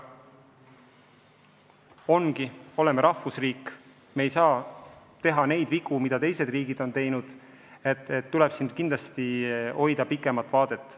Samas, me oleme rahvusriik, me ei tohi teha vigu, mida teised riigid on teinud, kindlasti tuleb silmas pidada pikemat vaadet.